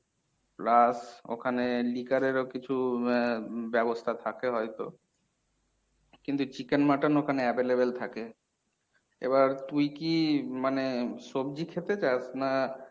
plus ওখানে liquor এরও কিছু আহ ব্যাবস্থা থাকে হয়ত। কিন্তু chicken, mutton ওখানে available থাকে। এবার তুই কি মানে সবজি খেতে চাস না